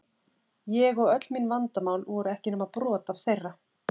Ég og öll mín vandamál voru ekki nema brot af þeirra.